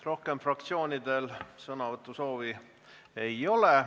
Rohkem fraktsioonidel sõnavõtusoovi ei ole.